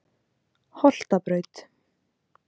Holtabraut